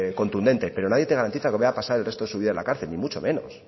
contundente pero nadie te garantiza que vaya a pasar el resto de tu vida en la cárcel ni mucho menos